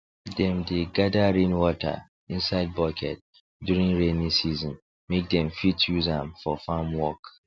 dem dey gather rainwater inside bucket during rainy season make dem fit use am for farm work